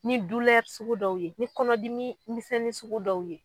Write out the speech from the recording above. Ni dulɛri sugu dɔw ye ni kɔnɔdimi misɛnni sugu dɔw ye